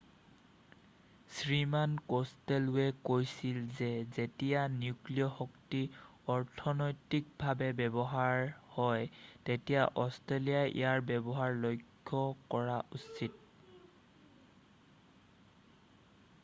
শ্ৰীমান কষ্টেলৱে কৈছিল যে যেতিয়া নিউক্লিয় শক্তি অৰ্থনৈতিভাৱে ব্যৱহাৰ্য হয় তেতিয়া অষ্ট্ৰেলিয়াই ইয়াৰ ব্যৱহাৰ লক্ষ্য কৰা উচিত